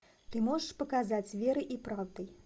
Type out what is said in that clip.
ты можешь показать верой и правдой